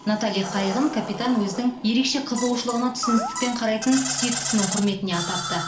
натали қайығын капитан өзінің ерекше қызығушылығына түсіністікпен қарайтын сүйіктісінің құрметіне атапты